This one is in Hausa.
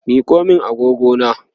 Miko min agogona!